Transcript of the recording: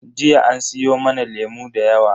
Jiya an siyo mana lemu da yawa.